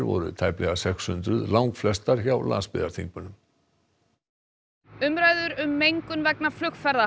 voru tæplega sex hundruð langflestar hjá landsbyggðarþingmönnum umræður um mengun vegna flugferða